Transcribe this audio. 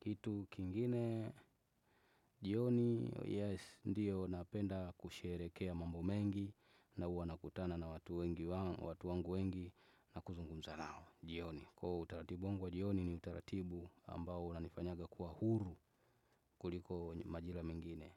kitu kingine jioni yes ndio napenda kusherehekea mambo mengi na huwa nakutana na watu wangu wengi na kuzungumza nao jioni kwa utaratibu wangu wa jioni ni utaratibu ambao una nifanyaga kuwa huru kuliko majira mengine.